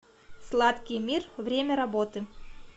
сладкий мир время работы